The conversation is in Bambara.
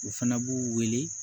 U fana b'u wele